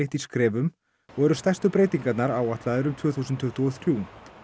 í skrefum og eru stærstu breytingarnar áætlaðar um tvö þúsund tuttugu og þrjú